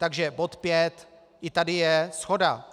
Takže bod šest, i tady je shoda.